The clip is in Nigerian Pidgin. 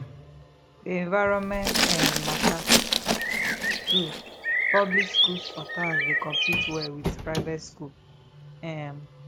di environment um matter too public schools for towns dey compete well with private schools um